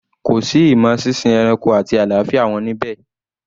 Kò sí imo sínsin ẹranko àti àlàáfíà wọn níbẹ̀?